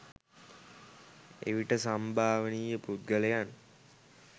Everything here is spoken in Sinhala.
එවිට සම්භාවනීය පුද්ගලයන්